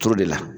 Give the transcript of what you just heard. Turu de la